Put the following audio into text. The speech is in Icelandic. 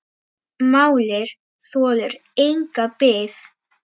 Málið þolir enga bið.